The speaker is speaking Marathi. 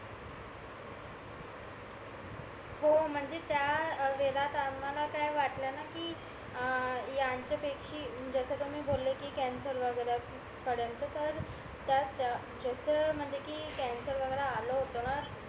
हो म्हणजे त्या वेळात आम्हाला काय वाटलंना कि अं ह्यांच्या पेक्षी जस कि तुम्ही बोले कॅन्सर वगैरे पर्यंत तर त्यात जस म्हणजे कि कॅन्सर वगैरे आला होत ना